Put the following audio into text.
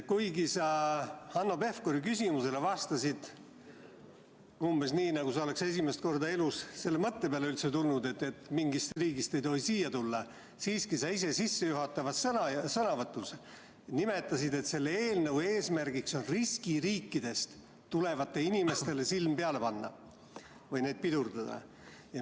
Kuigi sa Hanno Pevkuri küsimusele vastasid umbes nii, nagu sa oleksid esimest korda elus selle mõtte peale tulnud, et mingist riigist ei tohi siia tulla, siiski sa ise sissejuhatavas sõnavõtus nimetasid, et selle eelnõu eesmärk on riskiriikidest tulevatele inimestele silm peale panna või neid pidurdada.